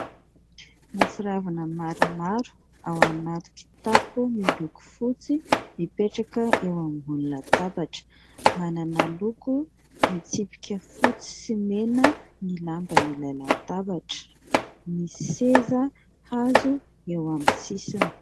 Mofo ravina maromaro ao anaty kitapo miloko fotsy mipetraka eo ambony latabatra. Manana loko mitsipika fotsy sy mena ny lamban'ilay latabatra ; misy seza hazo eo amin'ny sisiny.